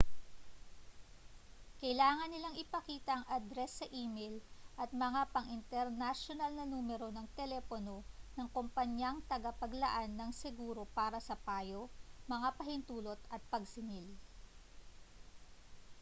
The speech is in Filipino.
kailangan nilang ipakita ang adres sa e-mail at mga pang-internasyonal na numero ng telepono ng kompanyang tagapaglaan ng seguro para sa payo/mga pahintulot at pagsingil